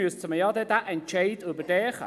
Da müsste man doch den Entscheid überdenken.